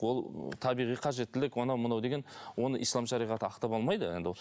ол табиғи қажеттілік анау мынау деген оны ислам шариғаты ақтап алмайды енді ол